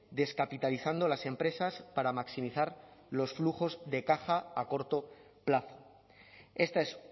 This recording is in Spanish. descapitalizando las empresas para maximizar los flujos de caja a corto plazo esta es